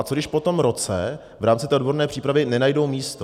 A co když po tom roce v rámci té odborné přípravy nenajdou místo?